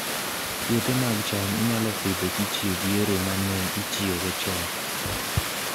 Puothe mag cham inyalo Pidho kitiyo gi yore ma ne itiyogo chon